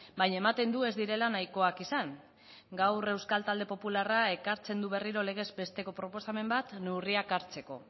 baina ematen du ez direla nahikoak izan gaur euskal talde popularrak ekartzen du berriro legezbesteko proposamen bat neurriak hartzeko